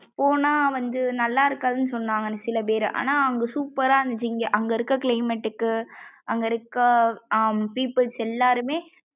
போனாவந்து நல்லா இருக்காதுன்னு சொன்னங்க சில பேரு ஆனா அங்க super ரா இருந்துச்சு இங்க அங்க இருக்க climate க்கு அங்க இருக்க. peoples எல்லாரும்மே